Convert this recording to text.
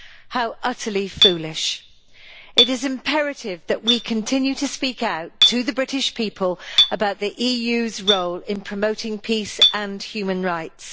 How utterly foolish. It is imperative that we continue to speak out to the British people about the EU's role in promoting peace and human rights.